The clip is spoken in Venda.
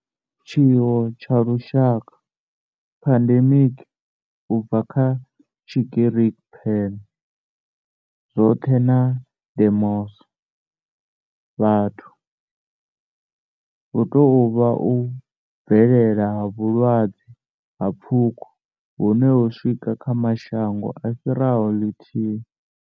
Tshiwo tsha lushaka, pandemic, u bva kha Tshigiriki pan, zwothe na demos, vhathu, hu tou vha u bvelela ha vhulwadze ha pfuko hune ho swika kha mashango a fhiraho lithihi.